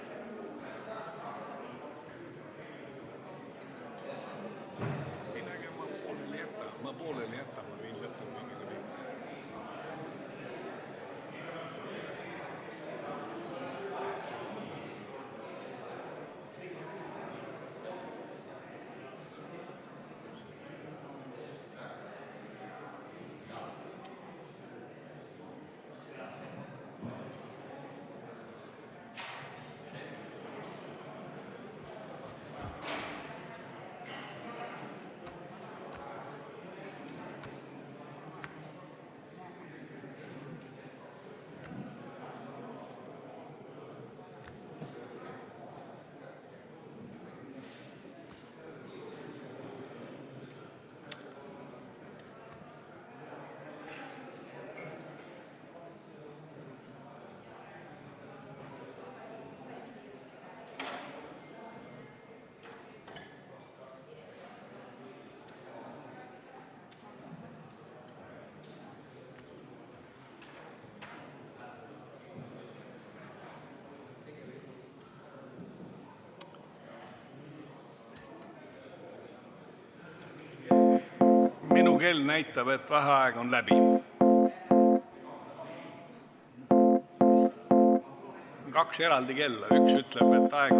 V a h e a e g